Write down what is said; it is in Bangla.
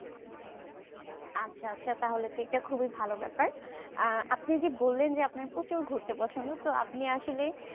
আচ্ছা আচ্ছা তাহলে তো এটা খুবই ভালো ব্যাপার আহ আপনি যদি বলেন যে আপনার প্রচুর ঘুরতে পছন্দ তো আপনি আসলে